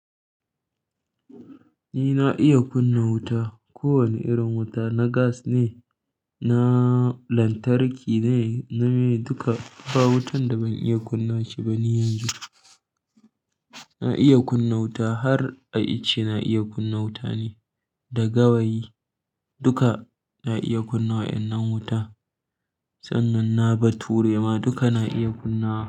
Ni na iya kunna wuta, kowane irin wuta, na gas ne, na lantarki ne, na me duka. Ba wutan da ban iya kunna shi ba ni yanzu. Na iya kunna wuta har a ice na iya kunna wuta ni, da gawayi duka na iya kunna wa'yan nan wuta. Sannan na bature ma duka na iya kunna wa.